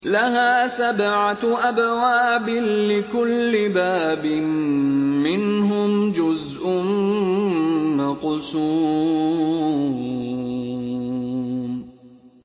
لَهَا سَبْعَةُ أَبْوَابٍ لِّكُلِّ بَابٍ مِّنْهُمْ جُزْءٌ مَّقْسُومٌ